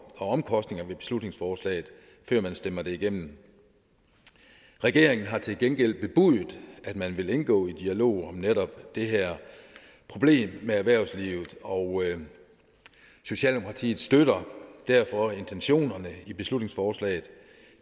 og omkostningerne ved beslutningsforslaget før man stemmer det igennem regeringen har til gengæld bebudet at man vil indgå i dialog om netop det her problem med erhvervslivet og socialdemokratiet støtter derfor intentionerne i beslutningsforslaget